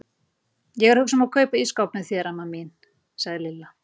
Ég er að hugsa um að kaupa ísskáp með þér, amma mín sagði Lilla.